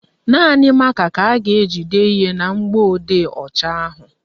Naanị mákà ka a ga-eji dee ihe na mgbọodee ọcha ahụ